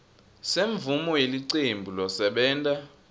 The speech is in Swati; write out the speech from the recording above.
semvumo yelicembu losebenta